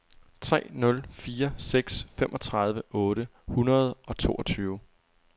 tre nul fire seks femogtredive otte hundrede og toogtyve